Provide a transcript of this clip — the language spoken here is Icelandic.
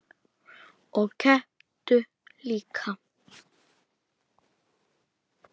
Og kepptu líka.